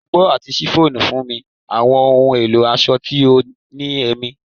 Ọgbọ ati chiffon nfunni awọn ohun elo aṣọ ti o ni ẹmi